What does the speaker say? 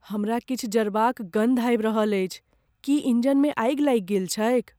हमरा किछु जरबाक गन्ध आबि रहल अछि। की इंजनमे आगि लागि गेल छैक ?